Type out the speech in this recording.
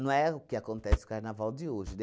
é o que acontece o Carnaval de hoje. De